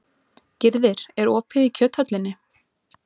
Gyrðir, er opið í Kjöthöllinni?